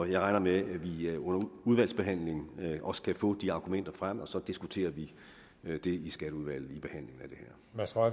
jeg regner med at vi under udvalgsbehandlingen også kan få de argumenter frem og så diskuterer vi det i skatteudvalget